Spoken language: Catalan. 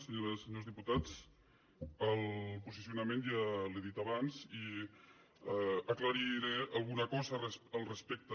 senyores i senyors diputats el posicionament ja l’he dit abans i aclariré alguna cosa al respecte